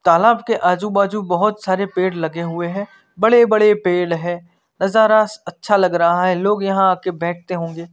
तालाब के आजू बाजू बहोत सारे पेड़ लगे हुए हैं बड़े बड़े पेड़ है नजारा अच्छा लग रहा है लोग यहां आ के बैठते होंगे।